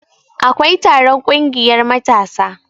akwai taron ƙungiyar matasa